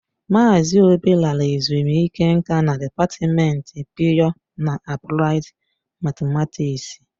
Mazị obi lara ezumike nká na dịpatmenti pịyọ na apụlaid matematiksi.